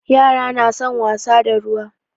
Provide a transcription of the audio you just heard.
Yara na son wasa da ruwa.